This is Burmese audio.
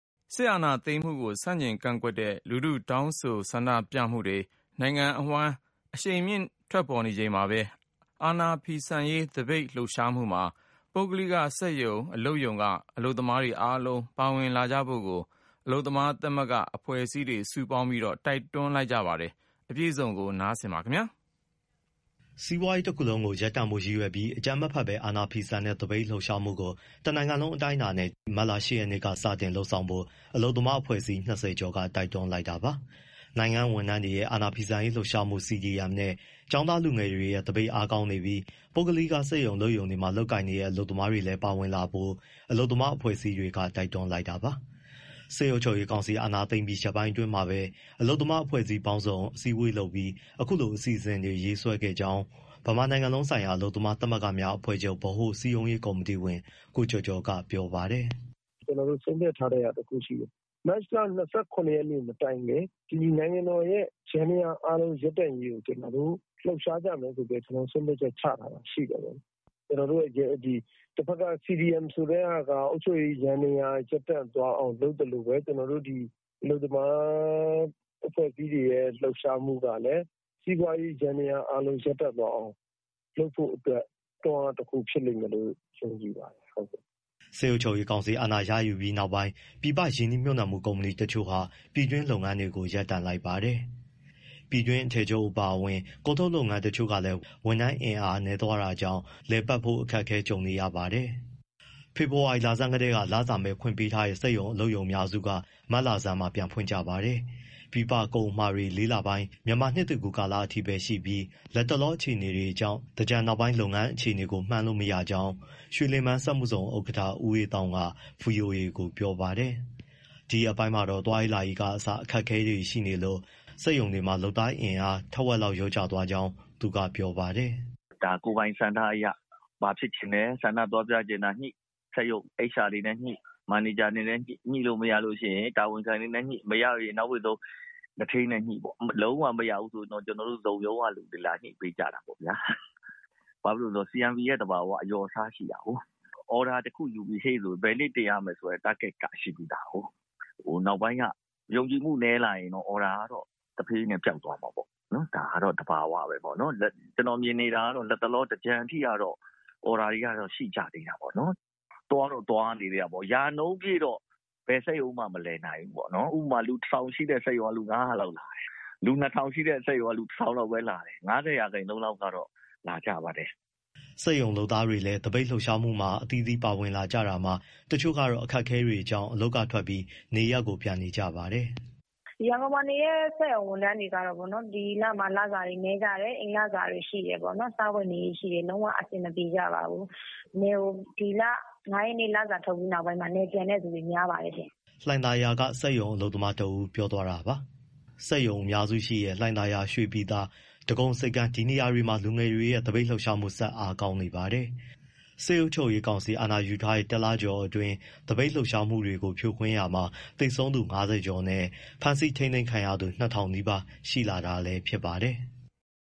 စစ်အာဏာသိမ်းမှုကို ဆန့်ကျင် ကန့်ကွက်တဲ့ လူထု တောင်းဆို ဆန္ဒပြမှုတွေ နိုင်ငံအဝှမ်း အရှိန်မြင့် ဖြစ်ပေါ်နေချိန်မှာဘဲ အာဏာဖီဆန်ရေး သပိတ်လှုပ်ရှားမှုမှာ ပုဂ္ဂလိက စက်ရုံ၊ အလုပ်ရုံက လုပ်သားတွေအားလုံး ပါဝင်လာဖို့ အလုပ်သမား သမဂ္ဂအဖွဲ့အစည်းတွေ စုပေါင်းပြီး တိုက်တွန်းလိုက်ကြပါတယ်။ စီးပွားရေးတခုလုံး ရပ်တန့်ဖို့ ရည်ရွယ်ပြီး အကြမ်းမဖက်ဘဲ အာဏာဖီဆန်တဲ့ သပိတ်လှုပ်ရှားမှုကို တနိုင်ငံလုံးအတိုင်းအတာနဲ့ ဒီကနေ့ မတ်လ ၈ ရက်နေ့ကနေ စတင်လုပ်ဆောင်ဖို့ အလုပ်သမားအဖွဲ့အစည်း ၂၀ ကျော်က တိုက်တွန်းလိုက်တာပါ။ နိုင်ငံ့ဝန်ထမ်းတွေရဲ့ အာဏာဖီဆန်ရေး လှုပ်ရှားမှု CDM နဲ့ ကျောင်းသားလူငယ်တွေရဲ့ သပိတ်အားကောင်းနေပြီး ပုဂ္ဂလိက စက်ရုံ၊ အလုပ်ရုံတွေမှာ လုပ်ကိုင်နေကြတဲ့ အလုပ်သမားတွေလည်း ပါဝင်လာဖို့လည်း အလုပ်သမားအဖွဲ့အစည်းတွေက တိုက်တွန်းလိုက်တာပါ။ စစ်အုပ်ချုပ်ရေးကောင်စီ အာဏာသိမ်းပြီး ရက်ပိုင်းအတွင်းမှာပဲ အလုပ်သမား အဖွဲ့အစည်းပေါင်းစုံ အစည်းအဝေးလုပ်ပြီး အခုလို အစီအစဉ်တွေ ရေးဆွဲခဲ့ကြောင်း ဗမာနိုင်ငံလုံးဆိုင်ရာ အလုပ်သမား သမဂ္ဂများအဖွဲ့အချုပ် ဗဟိုစည်းရုံးရေး ကော်မတီဝင် ကိုကျော်ကျော်က ပြောပါတယ်။ “ ကျနော်တို့ ဆုံးဖြတ်ထားတာ တခုရှိတယ်၊ မတ်လ ၂၇ ရက်မတိုင်ခင် နိုင်ငံတော်ရဲ့ ယန္တရားအားလုံး ရပ်တန့်ရေးကို ကျနော်တို့ လှုပ်ရှားကြမယ်ဆိုပြီး ဆုံးဖြတ်ထားတာ ရှိတယ်။ တဖက်က CDM ဆိုတဲ့ဟာက အုပ်ချုပ်ရေး ယန္တရား ရပ်တန့်သွားအောင် လုပ်သလိုပဲ အလုပ်သမား အဖွဲ့အစည်းတွေရဲ့ လှုပ်ရှားမှုကလည်း စီးပွားရေး ယန္တရားအားလုံး ရပ်တန့်သွားအောင် လုပ်ဖို့အတွက် တွန်းအားတခု ဖြစ်လိမ့်မယ်လို့ ယုံကြည်ပါတယ်။” စစ်အုပ်ချုပ်ရေးကောင်စီ အာဏာရယူပြီးနောက်ပိုင်း ပြည်ပရင်းနှီးမြှုပ်နှံမှု ကုမ္ပဏီတချို့ဟာ ပြည်တွင်းလုပ်ငန်းတွေကို ရပ်တန့်လိုက်ပါတယ်။ ပြည်တွင်း အထည်ချုပ်အပါအဝင် ကုန်ထုတ်လုပ်ငန်းတချို့ကလည်း ဝန်ထမ်းအင်အားနည်းသွားကြောင့် လည်ပတ်ဖို့ အခက်အခဲကြုံနေရပါတယ်။ ဖေဖော်ဝါရီလဆန်းကတည်းက လစာမဲ့ ခွင့်ပေးထားတဲ့ စက်မှုဇုံ စက်ရုံအများစုက မတ်လဆန်းမှာ ပြန်ဖွင့်ကြပါတယ်။ ပြည်ပ ကုန်အမှာတွေက လေးလပိုင်း မြန်မာနှစ်ကူး ကာလအထိပဲ ရှိနေပြီး လက်တလော အခြေအနေတွေကြောင့် သင်္ကြန်နောက်ပိုင်း လုပ်ငန်းအခြေအနေကို မှန်းလို့မရကြောင်း ရွေလင်ပန်းစက်မှုဇုံ ဥက္ကဋ္ဌ ဦးအေးသောင်းက ဗွီအိုအေကို ပြောပါတယ်။ ဒီရက်ပိုင်းမှာတော့ သွားရေးလာရေးကအစ ခက်ခဲမှုတွေရှိနေလို့ စက်ရုံတွေမှာ လုပ်သားအင်အား ထက်ဝက်လောက် လျော့ကျသွားကြောင်း သူကပြောပါတယ်။ “ ဒါကိုယ်ပိုင်ဆန္ဒအရဘာဖြစ်ချင်လဲ ဆန္ဒသွားပြချင်တာညှိ၊ စက်ရုံ HR တွေနဲ့ညှိ၊ မန်နေဂျာတွေနဲ့ညှိ၊ ညှိလို့မရရင် တာဝန်ခံတွေနဲ့ညှိ၊ ညှိလို့မရရင် နောက်ဘိတ်ဆုံး သူဌေးနဲ့ညှိပေါ့နော်၊ လုံးဝမရဘူး ဆိုရင်တော့ ကျနော်တို့ ဇုံရုံးကလူတွေ လာညှိပေးကြတာပေါ့ဗျာ။ ဘာဖြစ်လို့လဲဆိုတော့ CMP ရဲ့သဘာဝက အလျော်အစား ရှိတာကိုး။ အော်ဒါတခုယူထားတယ်ဆို ဘယ်နေ့တင်ရမယ်ဆိုတဲ့ target က ရှိပြီးသား။ နောက်ပိုင်းက ယုံကြည်မှု နည်းလာတယ်ဆိုရင်တော့ အော်ဒါက တဖြည်းဖြည်းနဲ့ ပျောက်သွားမှာပေါ့ ဒါကတော့ သဘာဝကိုး။ ကျနော်မြင်နေတာကတော့ လတ်တလော သင်္ကြန်အထိကတော့ အော်ဒါတွေက ရှိကြသေးတာပေါ့၊ သွားတော့ သွားနေကြသေးတာပေါ့ ရာနှုန်းပြည့်တော့ ဘယ်စက်ရုံမှ မလည်နိုင်ဘူးပေါ့။ ဥပမာ လူ ၁၀၀၀ ရှိတဲ့စက်ရုံက လူ ၅၀၀ လောက်လာတယ်၊ လူ ၂၀၀၀ ရှိတဲ့စက်ရုံက လူ ၁၀၀၀ လောက်ပဲလာတယ်၊ ၅၀ ရာခိုင်နှုန်းလောက်ကတော့ လာကြပါတယ်။ “ စက်ရုံလုပ်သားတွေလည်း သပိတ်လှုပ်ရှားမှုမှာ အသီးသီးပါဝင်လာနေကြတာမှာ တချို့ကတော့ အခက်အခဲတွေကြောင့် အလုပ်ကထွက်ပြီး နေရပ်ကို ပြန်နေကြပါတယ်။ “ ရန်ကုန်မှာနေတဲ့ စက်ရုံဝန်ထမ်းတွေကတော့ ဒီလမှာ လစာတွေနည်းကြတယ်၊ အိမ်လစာတွေရှိတယ်ပေါ့၊ စားဝတ်နေရေးရှိတယ်၊ လုံးဝအဆင်မပြေ ကြပါဘူး။ နယ်ကို ဒီလ ၅ ရက် လစာထုတ်ပြီး နောက်ပိုင်း နယ်ပြန်တဲ့သူတွေ များပါတယ်ရှင့်။” လှိုင်သာယာက စက်ရုံအလုပ်သမားတဦး ပြောသွားတာပါ။ စက်ရုံအများစုရှိတဲ့ လှိုင်သာယာ၊ ရွှေပြည်သာ၊ ဒဂုံဆိပ်ကမ်း ဒီနေရာတွေမှာ လူငယ်တွေရဲ့ သပိတ်လှုပ်ရှားမှုတွေ ဆက်အားကောင်းနေပါတယ်။ စစ်အုပ်ချုပ်ရေးကောင်စီ အာဏယူထားတဲ့ တလကျော်အတွင်းမှာ သပိတ်လှုပ်ရှားမှုတွေကို ဖြိုခွဲတာမှာ သေဆုံးသူ ၅၀ ကျော်နဲ့ ဖမ်းဆီးထိန်းသိမ်း ခံရသူ ၂,၀၀၀ နီးပါးရှိလာတာလည်း ဖြစ်ပါတယ်။